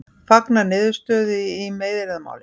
Fagna niðurstöðu í meiðyrðamáli